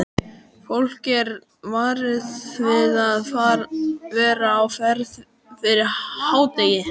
Fólk er varað við að vera á ferð fyrir hádegi.